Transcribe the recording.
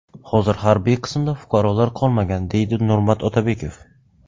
Hozir harbiy qismda fuqarolar qolmagan”, deydi Nurmat Otabekov.